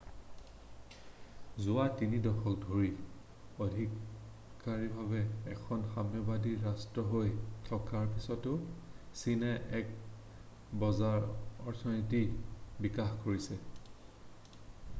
যোৱা 3 দশক ধৰি অধিকাৰীকভাৱে এখন সাম্যবাদী ৰাষ্ট্ৰ হৈ থকাৰ পিছতো চীনে এক বজাৰ অৰ্থনীতিৰ বিকাশ কৰিছে